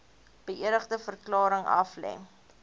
beëdigde verklaring aflê